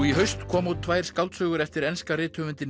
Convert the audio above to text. í haust komu út tvær skáldsögur eftir enska rithöfundinn